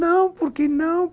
Não, por que não?